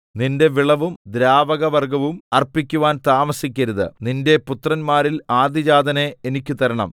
നിന്റെ വിളവും ദ്രാവകവർഗ്ഗവും അർപ്പിക്കുവാൻ താമസിക്കരുത് നിന്റെ പുത്രന്മാരിൽ ആദ്യജാതനെ എനിക്ക് തരണം